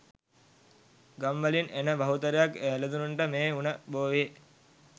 ගම් වලින් එන බහුතරයක් එළදෙනුන්ට මේ උණ බෝවේ.